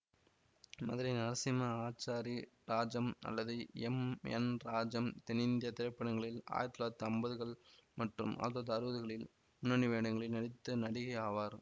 மதுரை நரசிம்ம ஆச்சாரி ராஜம் அல்லது M N Rajam தென்னிந்திய திரைப்படங்களில் ஆயிரத்தி தொள்ளாயிரத்தி அம்பதுகள் மற்றும் ஆயிரத்தி தொள்ளாயிரத்தி அறுபதுகளில் முன்னணி வேடங்களில் நடித்த நடிகை ஆவார்